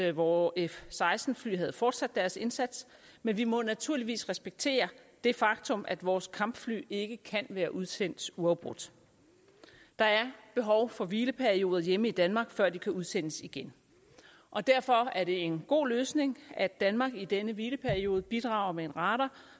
at vore f seksten fly havde fortsat deres indsats men vi må naturligvis respektere det faktum at vores kampfly ikke kan være udsendt uafbrudt der er behov for hvileperioder hjemme i danmark før de kan udsendes igen og derfor er det en god løsning at danmark i denne hvileperiode bidrager med en radar